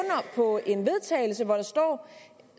på en vedtagelse